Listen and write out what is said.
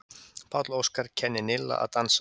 Páll Óskar kennir Nilla að dansa